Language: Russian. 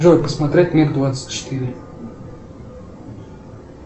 джой посмотреть мир двадцать четыре